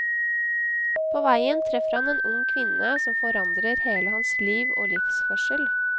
På veien treffer han en ung kvinne som forandrer hele hans liv og livsførsel.